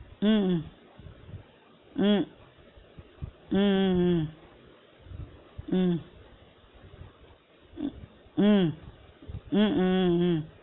உம் உம் உம் உம் உம் உம் உம் உம் உம் உம்